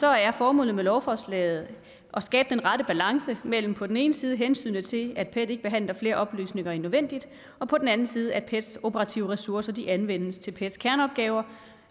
er formålet med lovforslaget at skabe den rette balance mellem på den ene side hensynet til at pet ikke behandler flere oplysninger end nødvendigt og på den anden side at pets operative ressourcer anvendes til pets kerneopgaver